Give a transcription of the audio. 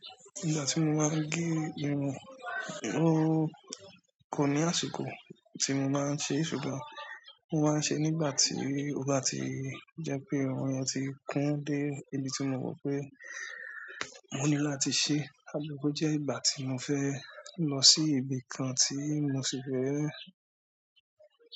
Ìgbà tí mo máa ń gé irun, kò ní àsìkò tí mo máa ń ṣe, ṣùgbọ́n mo máa ń ṣe nígbà tí ó bá ti jẹ́ pé irun yen ti kún dé ibi tí mo mọ̀ pé mo ní láti ṣe. Àbí ko jẹ́ ìgbà tí mo fẹ́ lọ sí ibi kan tí mo sì fẹ́